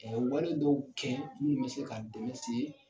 wale dɔw kɛ minnu bɛ se ka dɛmɛ se